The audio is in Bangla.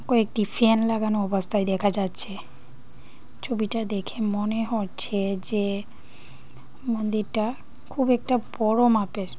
কয়েকটি ফ্যান লাগানো অবস্থায় দেখা যাচ্ছে ছবিটা দেখে মনে হচ্ছে যে মন্দিরটা খুব একটা বড় মাপের।